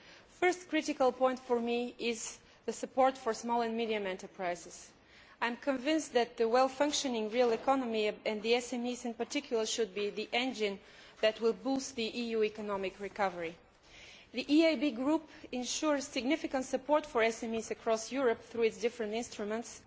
The first critical point for me is support for small and medium sized enterprises. I am convinced that a well functioning real economy, and SMEs in particular, should be the engine that will boost the EU economic recovery. The EIB group ensures significant support for SMEs across Europe through its different instruments.